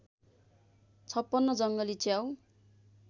५६ जङ्गली च्याउ